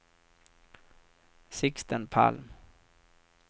Sixten Palm